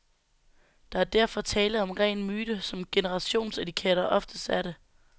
Der er derfor tale om ren myte, som generationsetiketter oftest er det.